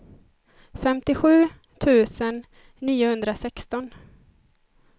femtiosju tusen niohundrasexton